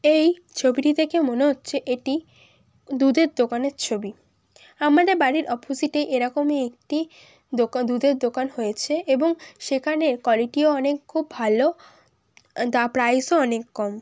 এই ছবিটি দেখে মনে হচ্ছে এটি দুধের দোকানের ছবি আমাদের বাড়ির অপজিটে এরকম একটি দোকান দুধের দোকান হয়েছে এবং সেখানে কলেটিও অনেক খুব ভালো দা প্রাইস -ও অনেক কম ।